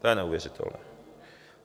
To je neuvěřitelné.